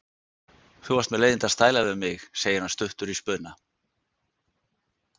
Þú varst með leiðinda stæla við mig, segir hann stuttur í spuna.